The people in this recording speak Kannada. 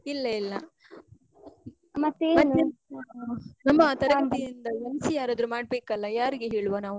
ಇಲ್ಲ ಇಲ್ಲ ನಮ್ಮ ತರಗತಿ ಇಂದ MC ಯಾರ್ ಆದ್ರು ಮಾಡ್ಬೇಕಲ್ಲ, ಯಾರಿಗೆ ಹೇಳುವ ನಾವೂ?